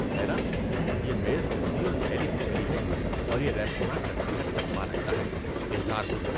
ہے نا! یہ میز گندی اور میلی کچیلی ہے اور یہ ریستوراں کچرے کا ڈبہ لگتا ہے، بیزار کن!!